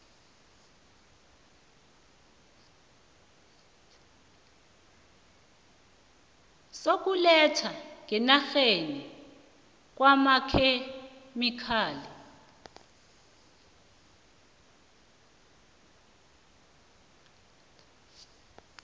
sokulethwa ngenarheni kwamakhemikhali